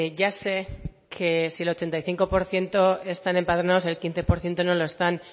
ya sé que si el ochenta y cinco por ciento están empadronados el quince por ciento no lo están